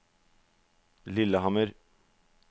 Lillehammer